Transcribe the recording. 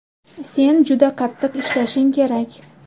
Sen juda qattiq ishlashing kerak.